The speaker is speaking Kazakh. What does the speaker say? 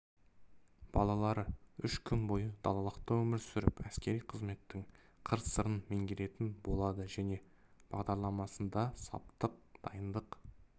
балалары үш күн бойы далалықта өмір сүріп әскери қызметтің қыр-сырын меңгеретін болады жиын бағдарламасында саптық дайындық